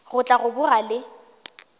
go tla go boga le